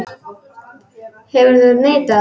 Hefðir þú neitað?